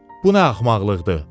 Bu nə axmaqlıqdır?